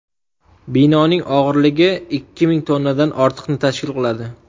Binoning og‘irligi ikki ming tonnadan ortiqni tashkil qiladi.